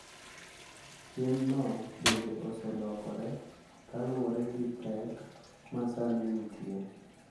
Timno bende oselokore kaluwore gi pek ma sani nitie.